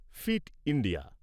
fit India